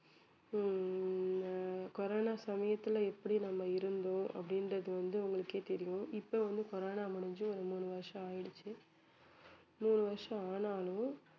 ஹம் ஆஹ் கொரோனா சமயத்துல எப்படி நம்ம இருந்தோம் அப்படின்றது வந்து உங்களுக்கே தெரியும் இப்ப வந்து கொரோனா முடிஞ்சு ஒரு மூணு வருஷம் ஆயிடுச்சு மூணு வருஷம் ஆனாலும்